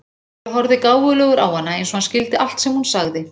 Týri horfði gáfulegur á hana eins og hann skildi allt sem hún sagði.